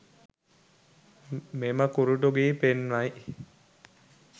මෙම කුරුටු ගී පෙන්වයි